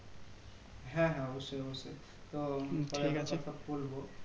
হ্যাঁ হ্যাঁ অবশ্যই অবশ্যই তো কথা বলবো